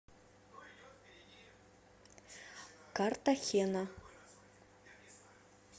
картахена